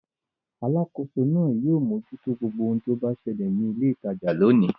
Alákòóso náà yóò mójútó gbogbo ohun tó bá ṣẹlẹ̀ ní ilé-ìtajà lónìí.